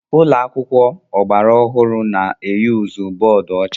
Ụlọ akwụkwọ praịmari gbara ọhụrụ na-eyuzu bọọdụ ọcha.